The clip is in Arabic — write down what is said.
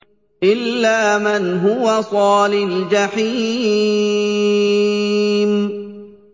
إِلَّا مَنْ هُوَ صَالِ الْجَحِيمِ